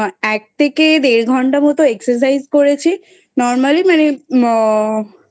এক থেকে দেড় ঘন্টা মতো Exercise করেছি. Normally মানে আ